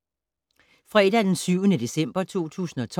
Fredag d. 7. december 2012